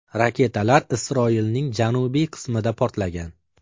Raketalar Isroilning janubiy qismida portlagan.